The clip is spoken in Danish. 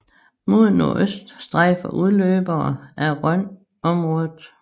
Mod nordøst strejfer udløbere af Rhön området